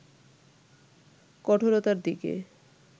কঠোরতার দিকে